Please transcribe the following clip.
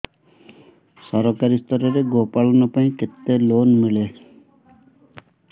ସରକାରୀ ସ୍ତରରେ ଗୋ ପାଳନ ପାଇଁ କେତେ ଲୋନ୍ ମିଳେ